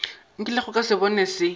nkilego ka se bona se